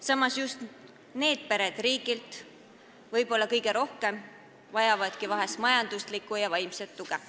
Samas, just need pered vajavadki võib-olla kõige rohkem majanduslikku ja vaimset tuge.